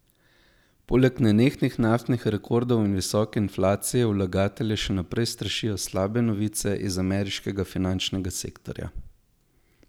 Poleg nenehnih naftnih rekordov in visoke inflacije vlagatelje še naprej strašijo slabe novice iz ameriškega finančnega sektorja.